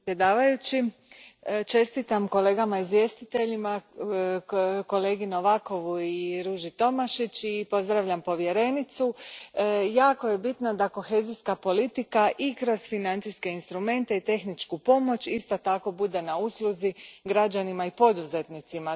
Gospodine predsjedniče, čestitam kolegama izvjestiteljima, kolegi Novakovu i Ruži Tomašić i pozdravljam povjerenicu. Jako je bitno da kohezijska politika i kroz financijske instrumente i tehničku pomoć isto tako bude na usluzi građanima i poduzetnicima.